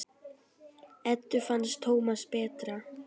Eddu fannst Tómas betra.